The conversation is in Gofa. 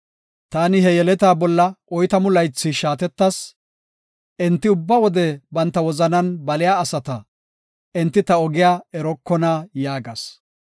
Taani he yeletaa bolla oytamu laythi shaatettas; “Enti ubba wode banta wozanan baliya asata; enti ta ogiya erokona” yaagas.